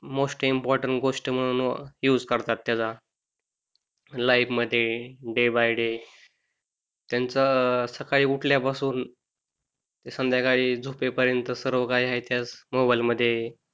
most important गोष्ट म्हणून use करतात त्याचा लाइफ मध्ये डे बाय डे त्यांच सकाळी उठल्यापासून संध्याकाळी झोपेपर्यंत सर्व काही आहे त्याच मोबाइल मध्ये